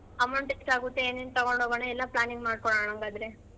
Amount ಎಷ್ಟ್ ಆಗುತ್ತೆ ಏನೇನ್ ತಗೊಂಡ್ ಹೋಗೋಣ ಎಲ್ಲಾ planning ಮಾಡ್ಕೊಳ್ಳೊನಾ ಹಂಗಾದ್ರೆ.